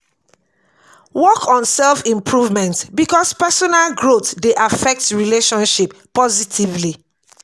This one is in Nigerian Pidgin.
work on self improvement because personal growth dey affect relationship positively